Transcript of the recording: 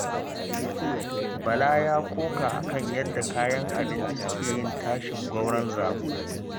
Bala ya koka a kan yadda kayan abinci suke yin tashin gwauron zabo